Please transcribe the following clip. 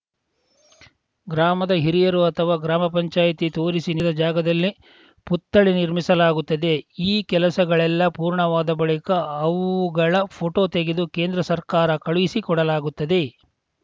ಗ್ರಾಮದ ಹಿರಿಯರು ಅಥವಾ ಗ್ರಾಮ ಪಂಚಾಯತಿ ತೋರಿಸಿ ನೀಡಿದ ಜಾಗದಲ್ಲೇ ಪುತ್ಥಳಿ ನಿರ್ಮಿಸಲಾಗುತ್ತದೆ ಈ ಕೆಲಸಗಳೆಲ್ಲ ಪೂರ್ಣವಾದ ಬಳಿಕ ಅವುಗಳ ಫೋಟೋ ತೆಗೆದು ಕೇಂದ್ರ ಸರ್ಕಾರ ಕಳುಹಿಸಿ ಕೊಡಲಾಗುತ್ತದೆ